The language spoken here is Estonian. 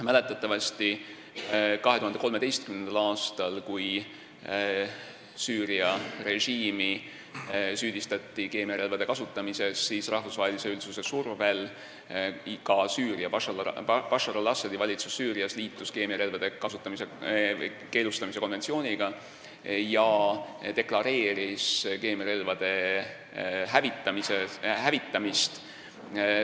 Mäletatavasti 2013. aastal, kui Süüria režiimi süüdistati keemiarelvade kasutamises, siis rahvusvahelise üldsuse survel liitus ka Bashar al-Assadi valitsus Süürias keemiarelvade keelustamise konventsiooniga ja deklareeris keemiarelvade hävitamist.